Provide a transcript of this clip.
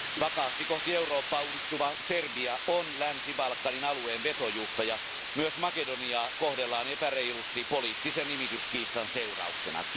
Vakaasti kohti Eurooppaa uudistuva Serbia on Länsi Balkanin alueen vetojuhta, ja myös Makedoniaa kohdellaan epäreilusti poliittisen nimityskiistan seurauksena.